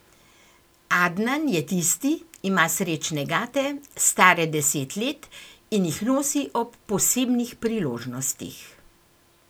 Adnan je tisti, ima srečne gate, stare deset let in jih nosi ob posebnih priložnostih.